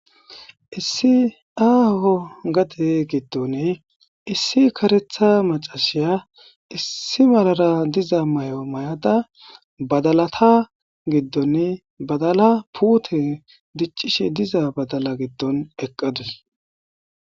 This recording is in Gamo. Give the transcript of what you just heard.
Issi aaho gade gidoni issi karetha maccashya issi marara dizza mayo mayada badalatha gidoni badala puthe dicishe dizza badalla gidon eqadus.